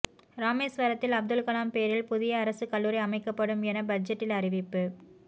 ராமேஸ்வரத்தில் அப்துல்கலாம் பெயரில் புதிய அரசு கல்லூரி அமைக்கப்படும் என பட்ஜெட்டில் அறிவிப்பு